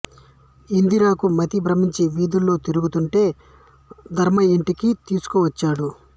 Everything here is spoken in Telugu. ఇందిరకు మతి భ్రమించి వీధులలో తిరుగుతుంటే ధర్మయ్య ఇంటికి తీసుకువచ్చాడు